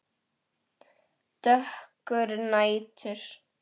Dökkur nætur